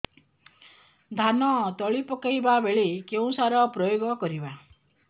ଧାନ ତଳି ପକାଇବା ବେଳେ କେଉଁ ସାର ପ୍ରୟୋଗ କରିବା